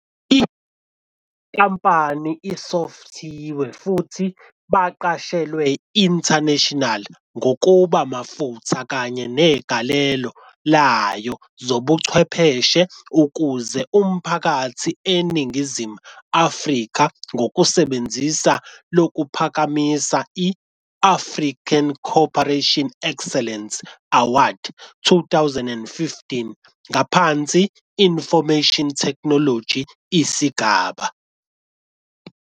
I-inkampani isofthiwe futhi baqashelwa international ngokuba mafutha kanye negalelo layo zobuchwepheshe ukuze umphakathi eNingizimu Afrika ngokusebenzisa lokuphakamisa i-African Corporate Excellence Awards 2015 ngaphansi Information Technology isigaba.